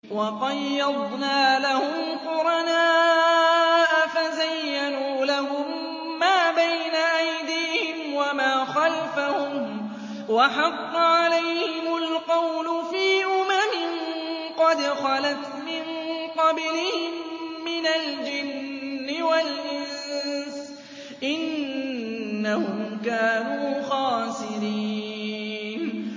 ۞ وَقَيَّضْنَا لَهُمْ قُرَنَاءَ فَزَيَّنُوا لَهُم مَّا بَيْنَ أَيْدِيهِمْ وَمَا خَلْفَهُمْ وَحَقَّ عَلَيْهِمُ الْقَوْلُ فِي أُمَمٍ قَدْ خَلَتْ مِن قَبْلِهِم مِّنَ الْجِنِّ وَالْإِنسِ ۖ إِنَّهُمْ كَانُوا خَاسِرِينَ